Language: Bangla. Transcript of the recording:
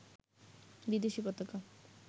বিদেশী পতাকা